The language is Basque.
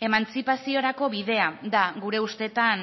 emantzipaziorako bidea da gure ustetan